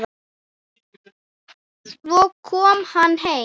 Svo kom hann heim.